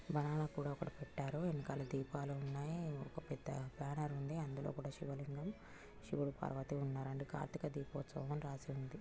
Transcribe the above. Banana కూడా ఒకటి పెట్టారు ఎనకల దీపాలు ఉన్నాయి ఒక పెద్ద బానర్ ఉంది అందులో కూడా శివలింగం శివుడు పార్వతీ ఉన్నారు కార్తీక దిపోత్సవం రాసి ఉంది.